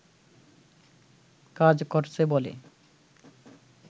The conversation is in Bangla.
কাজ করছে বলে